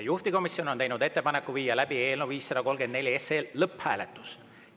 Juhtivkomisjon on teinud ettepaneku viia läbi eelnõu 534 lõpphääletus.